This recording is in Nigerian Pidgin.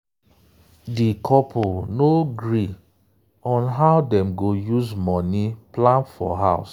di couple no gree on how dem go use money plan for house.